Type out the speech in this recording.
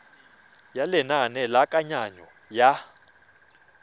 ya lenane la kananyo ya